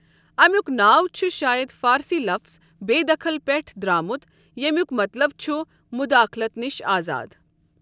اَمیُک ناو چھُ شایَد فارسی لفظ بے دخل پٮ۪ٹھ درامُت یمیُک مطلب چھُ مُداخٕلَت نِش آزاد۔